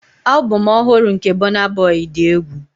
Album ọhụrụ nke Burna Boy dị egwu.